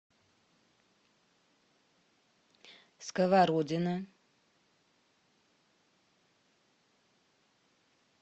сковородино